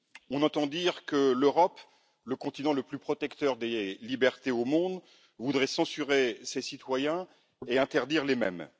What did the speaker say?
On entend dire que l'Europe, continent le plus protecteur des libertés au monde, voudrait censurer ses citoyens et interdire les mèmes.